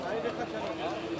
Niyə də qarışır?